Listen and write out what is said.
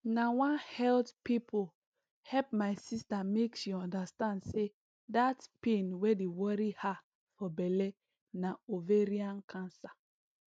na one health pipo help my sister make she understand say dat pain wey dey worry ha for belle na ovarain cancer